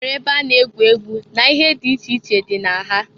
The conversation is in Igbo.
E nwere ebe a na-egwu egwu na ihe di iche iche dị na ha.